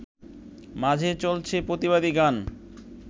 মাঝে চলছে প্রতিবাদী গান